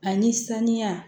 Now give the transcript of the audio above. Ani saniya